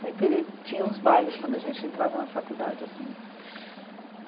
Sempre tinha uns bailes quando a gente entrava na faculdade assim.